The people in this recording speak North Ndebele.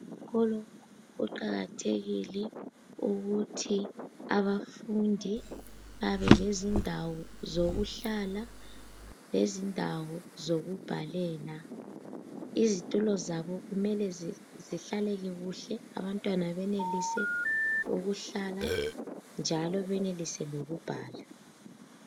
Esikolo kuqakathekile ukuthi abafundi babelezindawo zokuhlala lezindawo zokubhalela. Izitulo zabo kumele zihlaleke kuhle, abantwana benelise ukuhlala njalo benelise lokubhala.